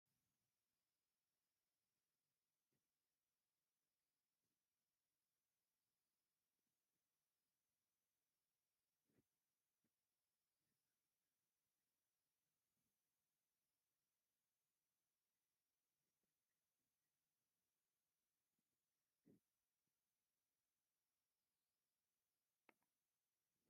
ነዋሕ ኦም ስየ ኣብ ማእከል ጽርግያ ክሳዕ ክንደይ ጽብቕትን ዝድነቕን ትመስል! ረጒድ ጅርባኡን ኣብ ልዕሊኡ ዘሎ ቆጽልን ፍሉይ መልክዕ ይህቦ። እዛ መስተንክር ገረብ ንጽባቐ እቲ ጽርግያ ክሳብ ክንደይ ትውስኸላ?